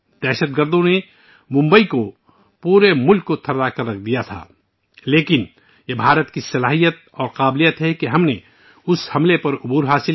دہشت گردوں نے پورے ملک کے ساتھ ممبئی کو بھی ہلا کر رکھ دیا تھا لیکن یہ بھارت کا حوصلہ ہے، جس نے ہمیں آزمائش سے باہر نکالا